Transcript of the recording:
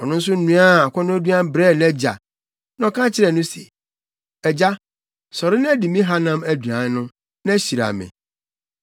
Ɔno nso noaa akɔnnɔduan brɛɛ nʼagya. Na ɔka kyerɛɛ no se, “Agya, sɔre na di me hanam aduan no, na hyira me.”